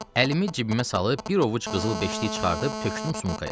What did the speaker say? Əlimi cibimə salıb bir ovuc qızıl beşlik çıxarıb tökdüm sumkaya.